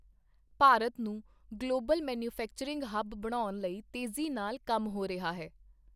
ਭਾਰਤ ਨੂੰ global manufacturing hub ਬਣਾਉਣ ਲਈ ਤੇਜੀ ਨਾਲ ਕੰਮ ਹੋ ਰਿਹਾ ਹੈ।